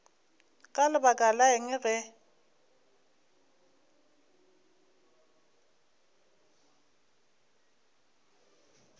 ka lebaka la eng ge